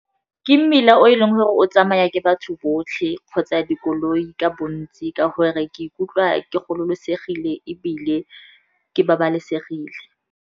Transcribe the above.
Ke mmila o e leng gore o tsamaya ke batho botlhe kgotsa dikoloi ka bontsi, ka gore ke ikutlwa ke gololosegile ebile ke babalesegile.